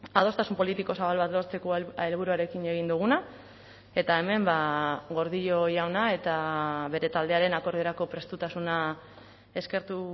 adostasun politiko zabal bat lortzeko helburuarekin egin duguna eta hemen gordillo jauna eta bere taldearen akordiorako prestutasuna eskertu